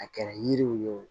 A kɛra yiriw ye o